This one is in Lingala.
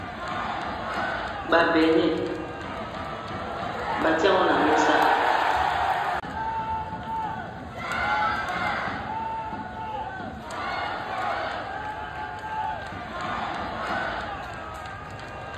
Ba beigne bâtie yango n'a mesa.